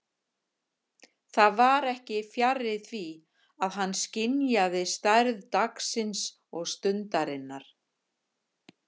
Það var ekki fjarri því að hann skynjaði stærð dagsins og stundarinnar.